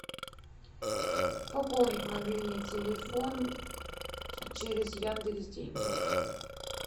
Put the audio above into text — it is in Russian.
пополнить мобильный телефон через яндекс деньги